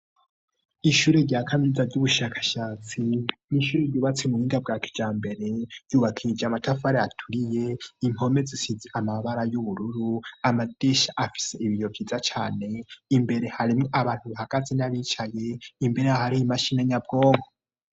Ishure rya Kaminuza ry'ubushakashatsi, n'ishure ryubatse mu buhinga bwa kijambere ryubaskishije amatafari aturiye, impome zisize amabara y'ubururu amadirisha afise ibiyo vyiza cane, imbere harimwo abantu bahagaze n'abicaye, imbere ahari imashini nyabwonko.